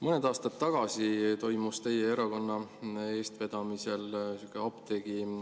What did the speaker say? Mõned aastad tagasi toimus teie erakonna eestvedamisel sihuke apteegi …